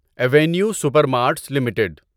avenue super marts limited